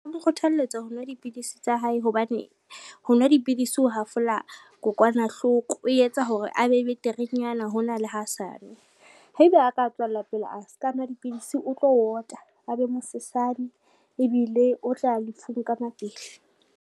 Ho kgothalletsa ho nwa dipidisi tsa hae hobane, ho nwa dipidisi ho hafola kokwanahloko, o etsa hore a be beterenyana hona le ha sanwe. Haebe a ka tswella pele a ska nwa dipidisi, o tlo ota a be mosesaane ebile o tla ya lefung ka mapele.